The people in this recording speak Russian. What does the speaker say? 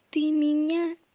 ты меня